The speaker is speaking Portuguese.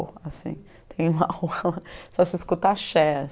assim. Tem uma rua lá só se escuta axé